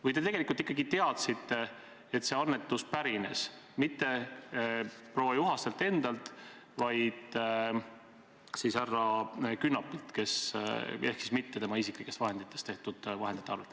Või te tegelikult ikkagi teadsite, et see annetus ei pärinenud mitte proua Juhastelt endalt, vaid härra Künnapilt ehk siis mitte tema isiklikest vahenditest?